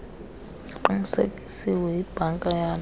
kuqinisekisiwe yibhanka yabe